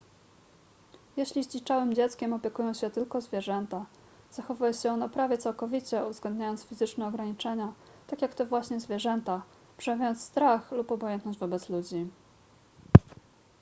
jeśli zdziczałym dzieckiem opiekują się tylko zwierzęta zachowuje się ono prawie całkowicie uwzględniając fizyczne ograniczenia tak jak te właśnie zwierzęta przejawiając strach lub obojętność wobec ludzi